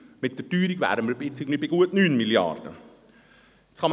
Mit der Teuerung wären wir jetzt bei gut 9 Mrd. Franken.